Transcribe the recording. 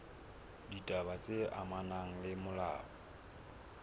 ditaba tse amanang le molao